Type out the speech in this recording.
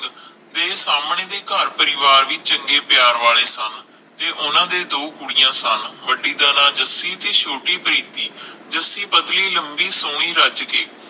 ਫਿਰ ਸਾਮਣੇ ਵੀ ਘਰ ਪਰਿਵਾਰ ਵੀ ਚੰਗੇ ਪਿਆਰ ਵਾਲੇ ਸਨ ਤੇ ਓਹਨਾ ਦੇ ਦੋ ਕੁੜੀਆਂ ਸਨ ਵੱਡੀ ਦਾ ਨਾਂ ਜੱਸੀ ਤੇ ਛੋਟੀ ਪ੍ਰੀਤਿ ਜੱਸੀ ਪਤਲੀ ਲੰਬੀ ਸੋਹਣੀ ਰੱਜ ਕੇ